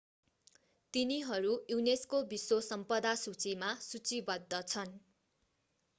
तिनीहरू युनेस्को विश्व सम्पदा सूचीमा सूचीबद्ध छन्